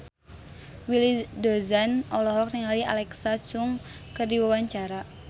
Willy Dozan olohok ningali Alexa Chung keur diwawancara